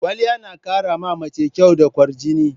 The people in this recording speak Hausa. Kwaliya na ƙara ma mace kyau da kwarjini.